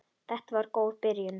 Þetta var góð byrjun.